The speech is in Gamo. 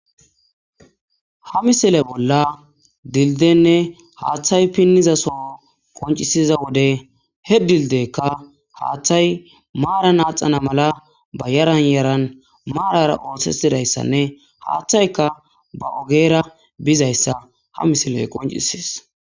Ha misile bolla dildiyenne hathay piniza Soho qoncisiza wode he dildiyeyka hathay haxanaala ba yaran yaran marara oothetidaysanne ba ogera nozaysa ha misiley qoncisses